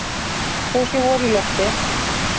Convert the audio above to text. Þó sé vor í lofti.